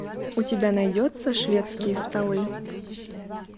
у тебя найдется шведские столы